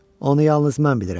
Onu yalnız mən bilirəm.